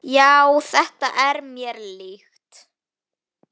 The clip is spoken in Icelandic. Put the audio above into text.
Já, þetta er mér líkt.